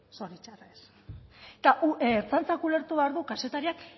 zoritzarrez eta ertzaintzak ulertu behar du kazetariak